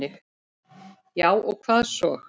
Já og hvað svo!